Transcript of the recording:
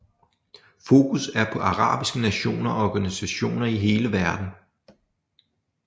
Fokus er på arabiske nationer og organisationer i hele verden